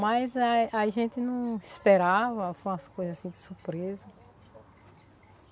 Mas a a gente não esperava, foi umas coisa assim de surpresa.